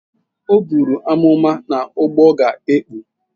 O buru amụma na ụgbọ ga-ekpu.